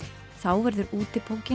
þá verður